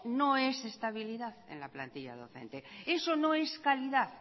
no es estabilidad en la plantilla docente eso no es calidad